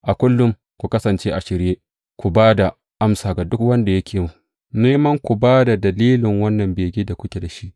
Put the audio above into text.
A kullum, ku kasance a shirye ku ba da amsa ga duk wanda yake neman ku ba da dalilin wannan begen da kuke da shi.